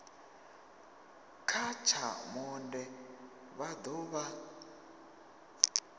kha tsha monde vha dovha